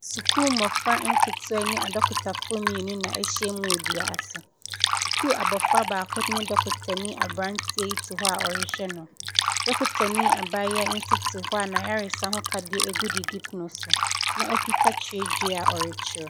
Sukuu mmofra nketewa ne adɔkotafo mmienu na ahyia mu dua ase. Sukuu abofra baako ne dɔkotani abranteɛ yi te hɔ a ɔrehwɛ no. Dɔkotani abaayaa yi nso te hɔ a na ayaresa ho akadeɛ gu didi pono so na ɔkita twerɛdua a ɔretwerɛ.